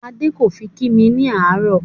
Adé kò fi kí mi ní àárò